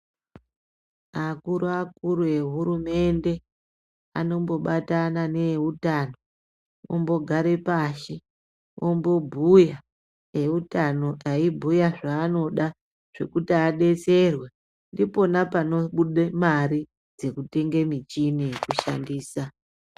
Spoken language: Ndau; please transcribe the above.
Akuru akuru eHurumende anombobatana neeutano ombogare pashi ombobhuya eutano eibhuya zvaanoda zvekuti adetserwe ipona panobuda mare dzekutenga michini yekushandisa.